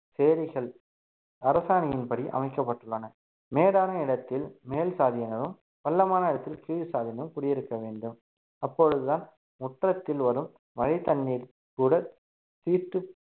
சேரிகள் அரசாணையின்படி அமைக்கப்பட்டுள்ளன மேடான இடத்தில் மேல் சாதியினரும் பள்ளமான இடத்தில் கீழ் சாதியினரும் குடியிருக்க வேண்டும் அப்பொழுதுதான் முற்றத்தில் வரும் மழைத் தண்ணீர் கூட தீட்டு